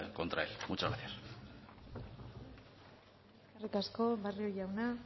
contra él muchas gracias eskerrik asko barrio jauna